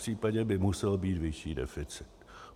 Popřípadě by musel být vyšší deficit.